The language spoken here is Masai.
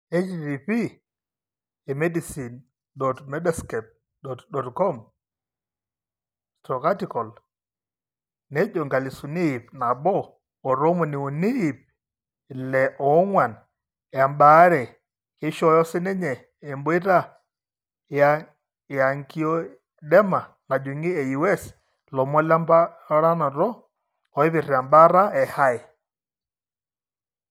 http://emedicine.medscape.com/article/inkalisuni ip nabo otomoni uni ,ip ile oong'uan embaare keishooyo siininye emboita eangioedema najung'i eUS ilomon lemponaroto oipirta embaata eHAE.